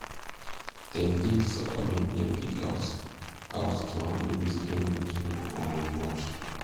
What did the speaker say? dem dig soakaway near pig house house to handle waste when rain too um much